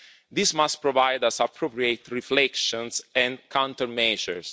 This must provide us appropriate reflections and countermeasures.